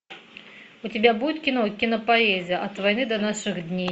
у тебя будет кино кинопоэзия от войны до наших дней